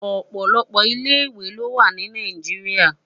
Òpòlòpò ilé iwé lo wá ni Nàijiriá